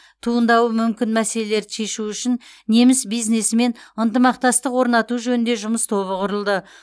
туындауы мүмкін мәселелерді шешу үшін неміс бизнесімен ынтымақтастық орнату жөнінде жұмыс тобы құрылды